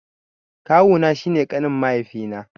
Kawu na shi ne ƙanin mahaifi na.